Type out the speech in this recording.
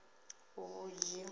a vhunzhi na a u